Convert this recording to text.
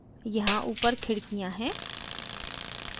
यहाँ ऊपर खिड़कियाँ हैं